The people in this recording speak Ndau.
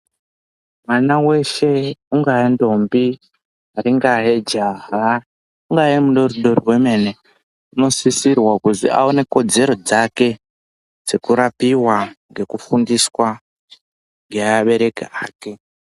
Mwana weshe ungava ntombi ringayejaha ungava mudodori wemene unosisirwa kunzi awone kodzero dzake dzekurapiwa ngekufundiswa ngeabereki ake